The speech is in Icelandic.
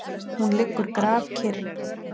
Hún liggur grafkyrr.